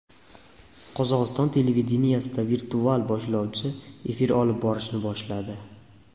Qozog‘iston televideniyesida virtual boshlovchi efir olib borishni boshladi .